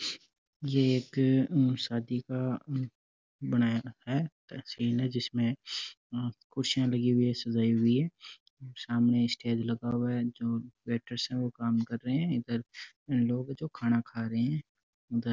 यह एक शादी का बनाया है सीन है जिसमें कुर्सियां लगी हुई है सजाई हुई है सामने स्टेज लगा हुआ है जो वैटर्स है वो काम कर रहे है इधर लोग हैं जो खाना खा रहे हैं उधर --